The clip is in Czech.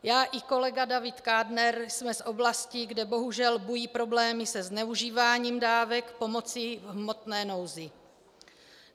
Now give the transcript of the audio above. Já i kolega David Kádner jsme z oblastí, kde bohužel bují problémy se zneužíváním dávek pomoci v hmotné nouzi.